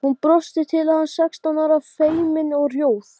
Þegar hún var ung, meina ég.